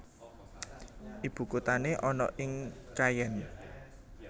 Ibukuthané ana ing Caen